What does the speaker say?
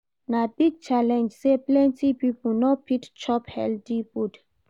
Na big challenge sey plenty pipo no fit chop healthy food.